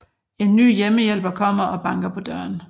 En ny hjemmehjælper kommer og banker på døren